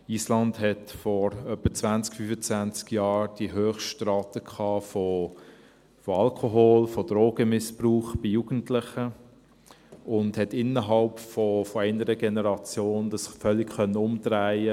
Island hatte vor etwa 20 oder 25 Jahren die Höchstrate von Alkohol- und Drogenmissbrauch bei Jugendlichen und konnte dies innerhalb einer Generation völlig umdrehen.